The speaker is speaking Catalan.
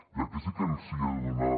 i aquí sí que els hi he de donar